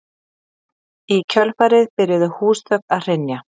Í kjölfarið byrjuðu húsþök að hrynja